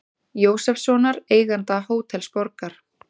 Jósefssonar, eiganda Hótels Borgar.